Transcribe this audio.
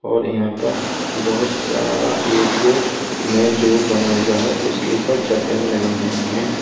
और यहां पर बहोत सारा एरियो में जो बना हुआ है उसके ऊपर चादरें लगी हुई है।